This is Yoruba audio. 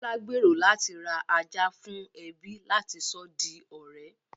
Bọ́lá gbèrò láti ra ajá fún ẹbí láti sọ di ọ̀rẹ́